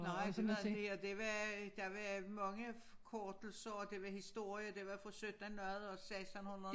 Nej det var det var der var mange forkortelser og det var historie og det var fra syttenhundrede og sekstenhundrede